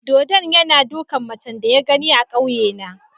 Dodon yana dukan macen da ya gani a kauyena.